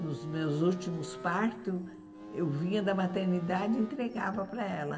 Nos meus últimos partos, eu vinha da maternidade e entregava para ela.